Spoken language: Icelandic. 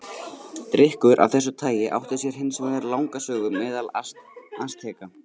Drykkur af þessu tagi átti sér hins vegar langa sögu meðal Asteka.